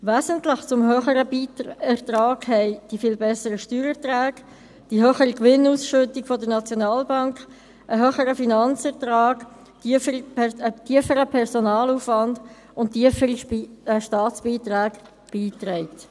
Wesentlich zum höheren Ertrag trugen die viel besseren Steuererträge bei, die höhere Gewinnausschüttung der Schweizerischen Nationalbank (SNB), ein höherer Finanzertrag, ein tieferer Personalaufwand und tiefere Staatsbeiträge.